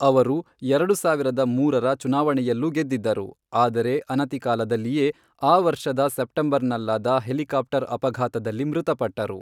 ಅವರು ಎರಡು ಸಾವಿರದ ಮೂರರ ಚುನಾವಣೆಯಲ್ಲೂ ಗೆದ್ದಿದ್ದರು, ಆದರೆ ಅನತಿಕಾಲದಲ್ಲಿಯೇ ಆ ವರ್ಷದ ಸೆಪ್ಟೆಂಬರ್ನಲ್ಲಾದ ಹೆಲಿಕಾಪ್ಟರ್ ಅಪಘಾತದಲ್ಲಿ ಮೃತಪಟ್ಟರು.